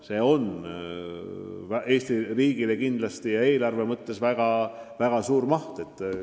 See on Eesti riigi eelarve jaoks väga suur summa.